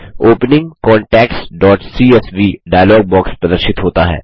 opening contactsसीएसवी dialog box प्रदर्शित होता है